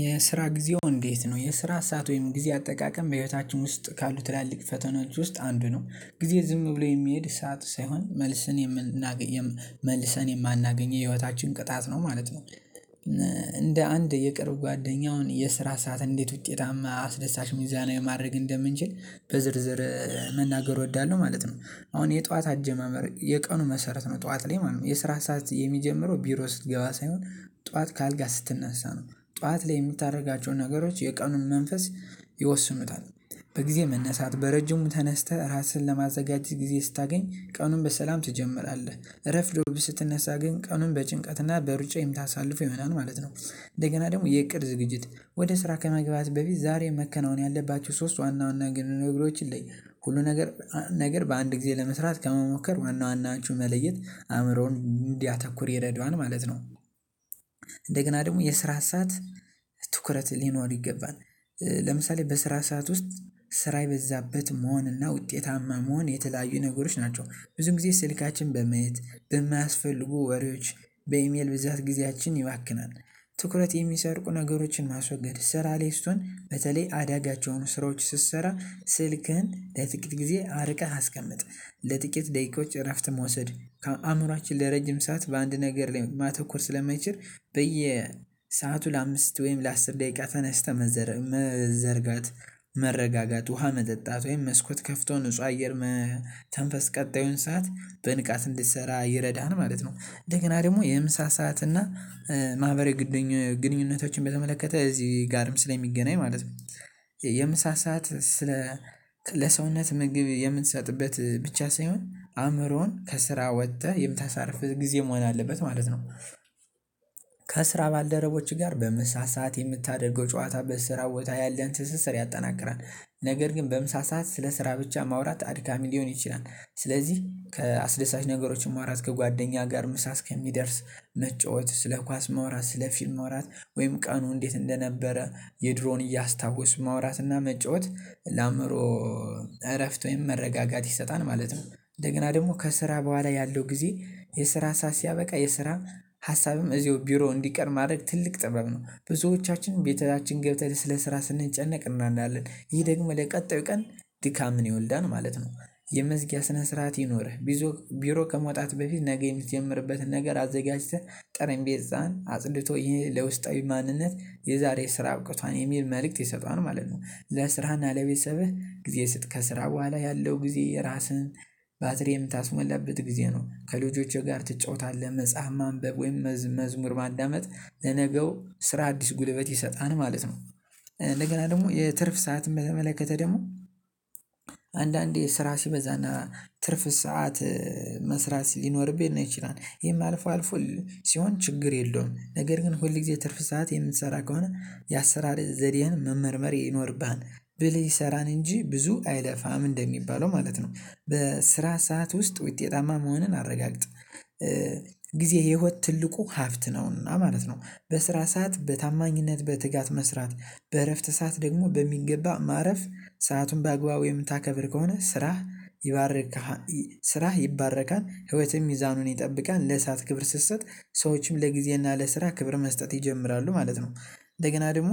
የስራ ጊዜው እንዴት ነው የስራ ሰዓት ወይም ጊዜ አጠቃቀም በህይወታችን ውስጥ ካሉ ትላልቅ ፈተናዎች ውስጥ አንዱ ነው ጊዜ ዝም ብሎ የሚሄድ ሰዓት ሳይሆን መልሰን የምናገኘው መልሰን የማናገኘው የህይወታችን ቅጣት ነው ማለት ነው። እንደ አንድ የቅርብ ጓደኛውን የስራ ሰዓት እንዴት ውጤታማ አስደሳች ሚዛናዊ የማድረግ እንደምንችል በዝርዝር መናገር እወዳለሁ ማለት ነው። አሁን የጠዋት አጀማመር የቀኑ መሰረት ነው ጠዋት ላይ ማለት ነው የስራ ሰዓት የሚጀምረው ቢሮ ስትገባ ሳይሆን ጠዋት ከአልጋ ስትነሳ ነው ጠዋት ላይ እምታደርጋቸውን ነገሮች የቀኑን መንፈስ ይወስኑታል። በጊዜ መነሳት በረጅሙ ተነስተህ ራስህን ለማዘጋጀት ጊዜ ስታገኝ ቀኑን በሰላም ትጀምራለህ ረፍዶብህ ስትነሳ ግን ቀኑን በጭንቀትና በሩጫ የምታሳልፉ ይሆናል ማለት ነው። እንደገና ደግሞ የእቅድ ዝግጅት ወደ ስራ ከመግባት በፊት ዛሬ መከናወን ያለባችው ሶስት ዋና ዋና ነገሮች ይለያል። ሁሉ ነገር ነገር በአንድ ጊዜ ለመስራት ከመሞከር ዋና ዋናዎቹን መለየት አእምሮውን እንዲያተኩር የረዳዋል ማለት ነው። እንደገና ደግሞ የስራ ሰዓት ትኩረት ሊኖር ይገባል። ለምሳሌ በስራ ሰዓት ውስጥ ስራ የበዛበት መሆን እና ውጤታማ መሆን የተለያዩ ነገሮች ናቸው። ብዙ ጊዜ ስልካችን በማየት በማያስፈልጉ ወሬዎች በኢሜል ብዛት ጊዜያችን ይባክናል። ትኩረት የሚሰርቁ ነገሮችን ማስወገድ ስራ ላይ ስትሆን በተለይ አዳጋች የሆኑ ስራዎች ስትሰራ ስልክህን ለጥቂት ጊዜ አርቀህ አስቀምጥ። ለጥቂት ደቂቃዎች እረፍት መውሰድ ከአእምሮአችን ለረጅም ሰዓት በአንድ ነገር ላይ ማተኮር ስለማይችል በየሰአቱ ለአምስት ወይም ለአስር ደቂቃ ተነስተህ መዘርጋት መረጋጋት ውሃ መጠጣት ወይም መስኮት ከፍቶ ንጹህ አየር መተንፈስ ቀጣዩን ሰዓት በንቃት እንድትሰራ ይረዳሀል ማለት ነው። እንደገና ደግሞ የምሳ ሰዓት እና ማህበራዊ ግንኙነቶችን በተመለከተ እዚህ ጋርም ስለሚገናኝ ማለት ነው። የምሳ ሰዓት ስለ ለሰውነት ምግብ የምንሰጥበት ብቻ ሳይሆን አእምሮን ከስራ ወጥተህ የምታሳርፍህ ጊዜ መሆን አለበት ማለት ነው። ከስራ ባልደረቦችህ ጋር በምሳ ሰዓት የምታደርገው ጨዋታ በስራ ቦታ ያለህን ትስስር ያጠናቅራል። ነገር ግን በምሳ ሰዓት ስለ ስራ ብቻ ማውራት አድካሚ ሊሆን ይችላል። ስለዚህ ከአስደሳች ነገሮች ማውራት ከጓደኛ ጋር ምሳ እስከሚደርስ መጫወት ስለ ኳስ ማውራት ስለ ፊልም ማውራት ወይም ቀኑ እንዴት እንደነበረ የድሮን እያስታወስ ማውራትና መጫወት ለአእምሮ እረፍት ወይም መረጋጋት ይሰጣል ማለት ነው። እንደገና ደግሞ ከስራ በኋላ ያለው ጊዜ የስራ ሰዓት ሲያበቃ የስራ ሀሳብም እዚሁ ቢሮ እንዲቀር ማድረግ ትልቅ ጥበብ ነው። ብዙዎቻችን ቤታችን ገብተን ስለ ስራ ስንጨነቅ እናናለን ይሄ ደግሞ ለቀጣዩ ቀን ዲካምን ይወልዳል ማለት ነው። የመዝጊያ ስነ ስርዓት ይኖርህ ቢዞ ቢሮ ከመውጣት በፊት ነገ የምትጀምርበትን ነገር አዘጋጅተን ጠረንቤ ህፃን አጽድቶ ይህ ለውስጣዊ ማንነት የዛሬ ስራ አብቅቷል የሚል መልእክት ይሰጣል ማለት ነው። ለስራህና ለቤተሰብህ ጊዜ ስጥ ከስራ በኋላ ያለው ጊዜ ራስህን ባትሪ የምታስሞላበት ጊዜ ነው። ከልጆችህ ጋር ትጫወታለህ መጽሐፍ ማንበብ ወይም መዝሙር ማዳመጥ ለነገው ስራ አዲስ ጉልበት ይሰጣል ማለት ነው። እንደገና ደግሞ የትርፍ ሰዓት በተመለከተ ደግሞ አንዳንዴ ስራ ሲበዛና ትርፍ ሰዓት መስራት ሊኖርብን ይችላል ይህም አልፎ አልፎ ሲሆን ችግር የለውም። ነገር ግን ሁል ጊዜ ትርፍ ሰዓት የምትሰራ ከሆነ የአሰራር ዘዴን መመርመር ይኖርብን ብልህ ይሰራል እንጂ ብዙ አይለፋም እንደሚባለው ማለት ነው። በስራ ሰዓት ውስጥ ውጤታማ መሆንን አረጋግጥ። ጊዜ የህይወት ትልቁ ሀብት ነውና ማለት ነው። በስራ ሰዓት በታማኝነት በትጋት መስራት በእረፍት ሰዓት ደግሞ በሚገባ ማረፍ ሰአቱን በአግባቡ የምታከብር ከሆነ ስራህ ይባርክሀል ስራህ ይባረካል ህይወትህን ሚዛኑን ይጠብቃል ለሰአት ክብር ስትሰጥ ሰዎችም ለጊዜና ለስራ ክብር መስጠት ይጀምራሉ ማለት ነው። እንደገና ደግሞ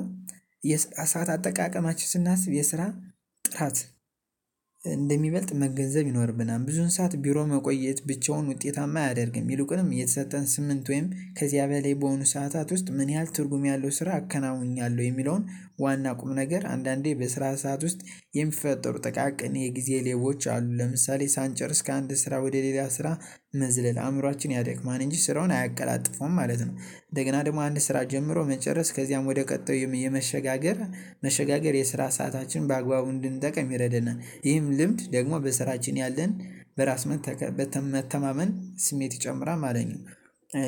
የሰዓት አጠቃቀማችን ስናስብ የስራ ጥራት እንደሚበልጥ መገንዘብ ይኖርብናል። ብዙውን ሰዓት ቢሮ መቆየት ብቻውን ውጤታማ አያደርግም ይሉቅንም የተሰጠን ስምንት ወይም ከዚያ በላይ በሆኑ ሰዓታት ውስጥ ምን ያህል ትርጉም ያለው ስራ አከናውኛለሁ? የሚለውን ዋና ቁም ነገር አንዳንዴ በስራ ሰዓት ውስጥ የሚፈጠሩ ጠቃቅን የጊዜ ሌቦች አሉ። ለምሳሌ ሳንጨርስ ከአንድ ስራ ወደ ሌላ ስራ መዝለል አእምሮአችን ያደክማል እንጂ ስራውን አያቀላጥፈውም ማለት ነው። እንደገና ደግሞ አንድ ስራ ጀምሮ መጨረስ ከዚያም ወደ ቀጣዩም የመሸጋገር መሸጋገር የስራ ሰዓታችን በአግባቡ እንድንጠቅም ይረዳናል። ይህም ልምድ ደግሞ በስራችን ያለን በራስ መተማመን ስሜት ይጨምራል ማለት ነው።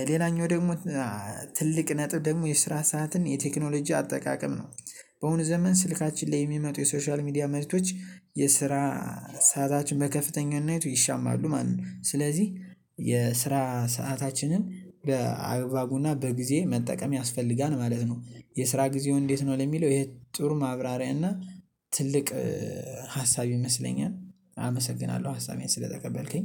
ሌላኛው ደግሞ ትልቅ ነጥብ ደግሞ የስራ ሰዓትን የቴክኖሎጂ አጠቃቀም ነው። በአሁኑ ዘመን ስልካችን ላይ የሚመጡ የሶሻል ሚዲያ መሬቶች የስራ ሰዓታችን በከፍተኛነቱ ይሻማሉ ማለት ነው። ስለዚህ የስራ ሰአታችንን በአግባቡና በጊዜ መጠቀም ያስፈልጋል ማለት ነው። የስራ ጊዜው እንዴት ነው? ለሚለው ይሄ ጥሩ ማብራሪያ እና ትልቅ ሀሳብ ይመስለኛል። አመሰግናለሁ ሀሳቤን ስለተቀበልከኝ